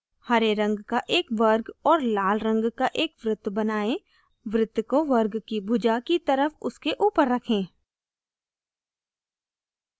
हरे रंग का एक वर्ग और लाल रंग का एक वृत्त बनाएं वृत्त को वर्ग की भुजा की तरफ उसके ऊपर रखें